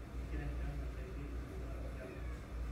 egira eshan aashaki edaa olshamba